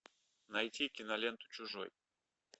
найти киноленту чужой